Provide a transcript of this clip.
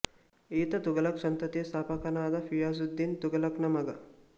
ಈತ ತುಘಲಕ್ ಸಂತತಿಯ ಸ್ಥಾಪಕನಾದ ಘಿಯಾಸುದ್ದೀನ್ ತುಘಲಕ್ ನ ಮಗ